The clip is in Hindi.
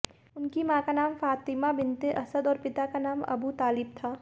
उन्की मॉं का नाम फ़ातेमा बिन्ते असद और पिता का नाम अबू तालिब था